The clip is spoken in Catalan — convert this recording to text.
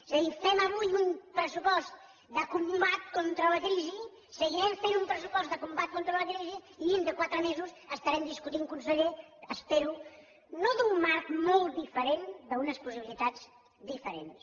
és a dir fem avui un pressupost de combat contra la crisi seguirem fent un pressupost de combat contra la crisi i dintre de quatre mesos estarem discutint conseller ho espero no d’un marc molt diferent d’unes possibilitats diferents